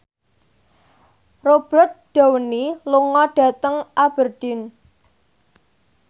Robert Downey lunga dhateng Aberdeen